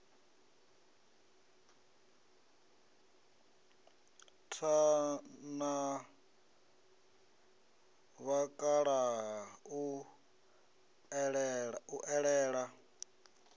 tha na vhakalaha u ṱalela